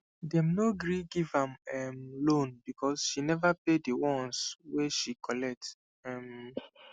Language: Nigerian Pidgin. them no gree give am um loan because she never pay the ones wey she collect um